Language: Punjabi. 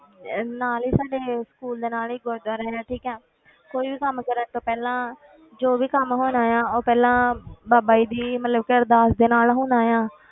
ਅਹ ਨਾਲ ਹੀ ਸਾਡੇ school ਦੇ ਨਾਲ ਹੀ ਗੁਰੂਦੁਆਰਾ ਹੈ ਠੀਕ ਹੈ ਕੋਈ ਵੀ ਕੰਮ ਕਰਨ ਤੋਂ ਪਹਿਲਾਂ ਜੋ ਵੀ ਕੰਮ ਹੋਣਾ ਆਂ ਉਹ ਪਹਿਲਾਂ ਬਾਬਾ ਜੀ ਦੀ ਮਤਲਬ ਕਿ ਅਰਦਾਸ ਦੇ ਨਾਲ ਹੋਣਾ ਆਂ,